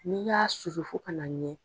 N'i y'a susu fo kana a nugu.